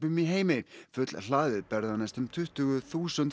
í heimi fullhlaðið ber það næstum tuttugu þúsund